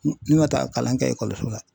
Ne man taa kalan kɛ ekɔliso la.